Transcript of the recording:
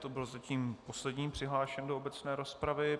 To byl zatím poslední přihlášený do obecné rozpravy.